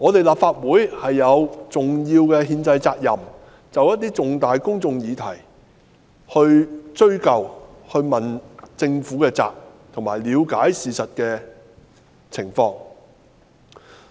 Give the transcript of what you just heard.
立法會有重要的憲制責任，就涉及重大公眾利益的議題加以追究，並向政府問責及了解事情的實況。